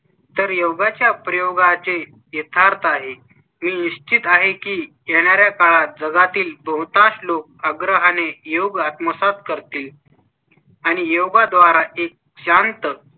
तर योगा च्या प्रयोगा चे यथार्थ आहे. मी स्थित आहे की येणार् या काळात जगातील बहुतांश लोक आग्रह आणि योग आत्म सात कर तील आणि योग द्वारा एक शांत,